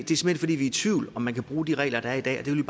i tvivl om om man kan bruge de regler der er i dag og det vil